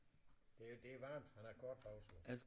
Det det er varmt han har korte bukser på